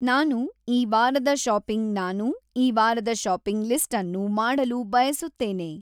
ನಾನು ಈ ವಾರದ ಶಾಪಿಂಗ್ ನಾನು ಈ ವಾರದ ಶಾಪಿಂಗ್ ಲಿಸ್ಟ್ಅನ್ನು ಮಾಡಲು ಬಯಸುತ್ತೇನೆ